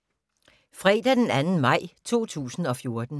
Fredag d. 2. maj 2014